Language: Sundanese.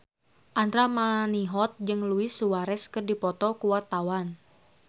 Andra Manihot jeung Luis Suarez keur dipoto ku wartawan